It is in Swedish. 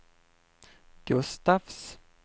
Gustafs